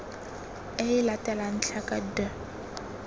e e latelang tlhaka d